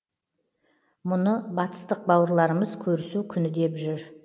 мұны батыстық бауырларымыз көрісу күні деп жүр